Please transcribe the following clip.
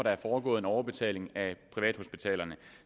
der er foregået en overbetaling af privathospitalerne